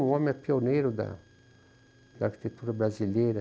O homem é pioneiro da da arquitetura brasileira.